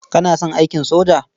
Kana son aikin soja?